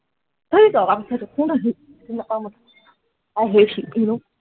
হেই দৰকাৰ পৰিছে সেইটোক, কোন হয় সি? চিনি নাপাওঁ মই i hate him you know